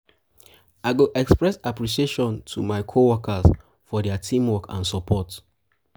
i go express appreciation to my coworkers for dia teamwork and support.